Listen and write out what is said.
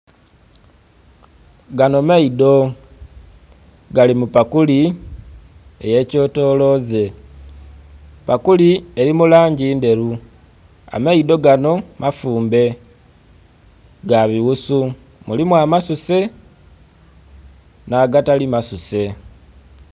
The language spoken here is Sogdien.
Ganho maidho gali mu pakuli, eyekyetoloze. pakuli, eli mu langi dhelu amaidho ganho mafumbe, ga bighusu mulimu amasuse nhagatali masuse.